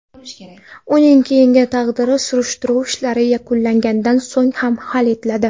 Uning keyingi taqdiri surishtiruv ishlari yakunlangandan so‘ng hal etiladi.